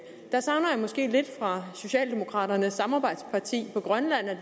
måske lidt fra socialdemokraternes samarbejdsparti på grønland at